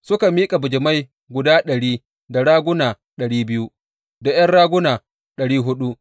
Suka miƙa bijimai guda ɗari, da raguna ɗari biyu, da ’yan raguna ɗari huɗu.